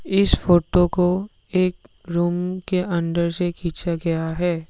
इस फोटो को एक रूम के अंदर से खींचा गया है।